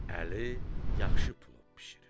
Əli yaxşı plov bişirir.